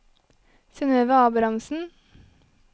Synnøve Abrahamsen